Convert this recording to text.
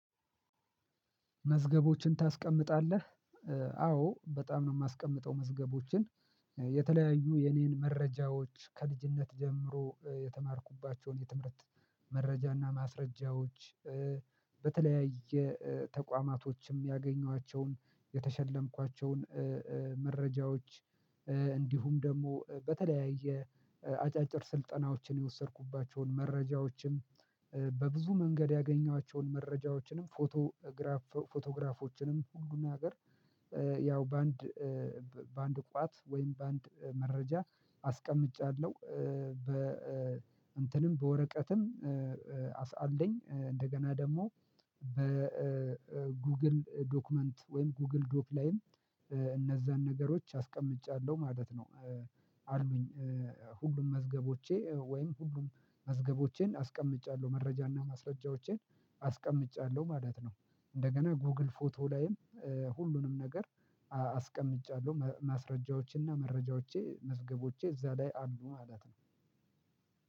መዝገቦችን ታስቀምጣለህ አዎ በጣም ነው የማስቀምጠው። መዝገቦችን የተለያዩ የኔን መረጃዎች ከልጅነት ጀምሮ የተማርኩባቸውን የትምህርት መረጃና ማስረጃዎች በተለያየ ተቋማቶችም ያገኘኋቸውን የተሸለምኳቸውን መረጃዎች እንዲሁም ደግሞ በተለያየ አጫጭር ስልጠናዎችን የወሰድኩባቸውን መረጃዎችንም በብዙ መንገድ ያገኘኋቸውን መረጃዎችንም ፎቶግራፍ ፎቶግራፎችንም ሁሉን ነገር ያው በአንድ በአንድ ቋት ወይም በአንድ መረጃ አስቀምጫለሁ። በ እንትንም በወረቀትም አስአለኝ እንደገና ደግሞ በጉግል ዶክመንት ወይም ጉግል ዶክ ላይም እነዛን ነገሮች አስቀምጫለሁ ማለት ነው። አሉኝ ሁሉም መዝገቦቼ ወይም ሁሉም መዝገቦቼን አስቀምጫለሁ መረጃና ማስረጃዎቼን አስቀምጫለሁ ማለት ነው። እንደገና ጎግል ፎቶ ላይም ሁሉንም ነገር አስቀምጫለሁ ማስረጃዎቼና መረጃዎቼ መዝገቦቼ እዛ ላይ አሉ ማለት ነው።